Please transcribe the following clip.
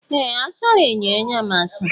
Ee! A sara enyo anya m asa.